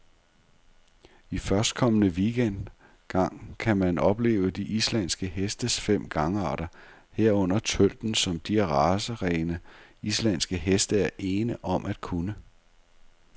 I førstkommende weekend gang kan man opleve de islandske hestes fem gangarter, herunder tølten, som de racerene, islandske heste er ene om at kunne.